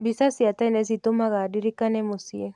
Mbica cia tene citũmaga ndirikane mũciĩ.